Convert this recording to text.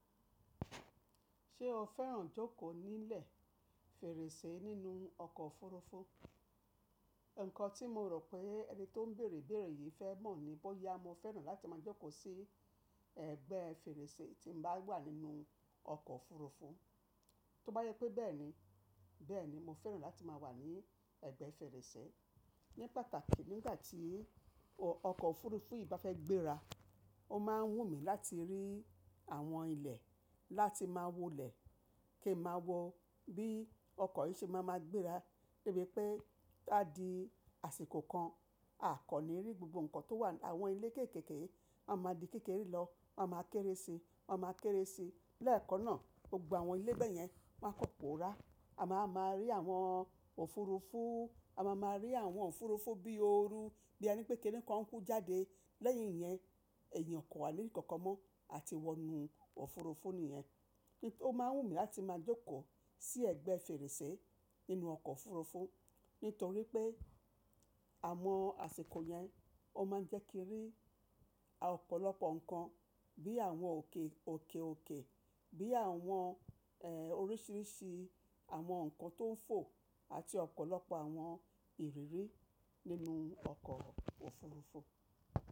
Ṣé o fẹ́ràn jókòó nílẹ̀ fèrèsé nínú ọkọ̀ òfurufú? Ǹkan tí mo rò pé ẹni tó ń bèèrè bèèrè yìí fẹ́ mọ̀ ni bọ́yá mo fẹ́ràn láti máa jókòó sí ẹ̀gbẹ́ fèrèsé tí mo bá wà nínú ọkọ̀ òfurufú. Tó bá jẹ pé bẹ́ẹ̀ni, bẹ́ẹ̀ni mo fẹ́ràn láti máa wà ní ẹ̀gbẹ́ fèrèsé. Ní pàtàkì nígbà tí ọkọ̀ òfurufú yìí bá fẹ́ gbéra, ó máa ń wù mí láti rí àwọn ilẹ̀ láti máa wólẹ̀ kí ẹ máa wọ bí ọkọ̀ yìí ṣe máa máa gbéra, gẹ́gẹ́ pé láti dí àsìkò kan a kò ní rí gbogbo ǹkan tó wà ní àwọn ilẹ̀ kéékèèké, wọ́n máa di kékeré lọ, wọ́n máa kéré sì, wọ́n máa kéré sì. Lẹ́ẹ̀kan náà, gbogbo àwọn ilé bẹ́ẹ̀ yẹn wón kàn máa poò ra. A máa máa rí àwọn òfurufú, a máa máa rí àwọn òfurufú bí ó ru, bí ẹni pé kí ń kọ́ ń kú jáde. Lẹ́yìn yẹn, ẹ̀yìn ò kàn wá ní rí nkankan mọ́ àti wọnú òfurufú nìyẹn. Ó máa ń wù mí láti máa jókòó sí ẹ̀gbẹ́ fèrèsé nínú ọkọ̀ òfurufú nítorí pé àwọn àsìkò yẹn ó máa ń jẹ́ kí rí ọ̀pọ̀lọpọ̀ ǹkan bí àwọn òkè òkèòkè, bí àwọn, ẹ́, oríṣìíríṣìí àwọn ǹkan tó ń fò àti ọ̀pọ̀lọpọ̀ àwọn ìrírí nínú ọkọ̀ òfurufú.